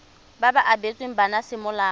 ba ba abetsweng bana semolao